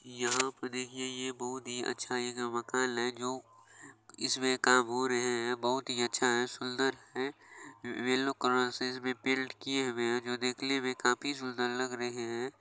यहाँ पे देखिए ये बहुत ही अच्छा यह मकान है जो इसमें काम हो रहे हैंबहुत ही अच्छा है सुंदर है येलो कलर से इसमें पेंट किए हुए हैं जो देखने में काफी सुंदर लग रहे है।